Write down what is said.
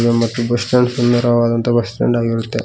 ನಮ್ಮತ್ತು bus stand ಸುಂದರವಾದಂತಹ bus stand ಆಗಿರುತ್ತೆ.